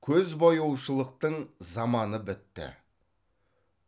көзбояушылықтың заманы бітті